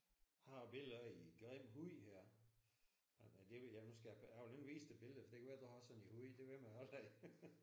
Jeg har et billede af en grim hund her. Nej det vil jeg nu skal jeg vil ikke vise dig billedet for det kan være du har sådan en hund det ved man aldrig